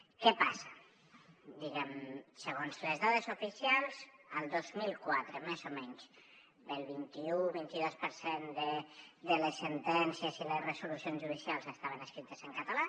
què passa diguem ne segons les dades oficials el dos mil quatre més o menys el vint i u o el vint i dos per cent de les sentències i les resolucions judicials estaven escrites en català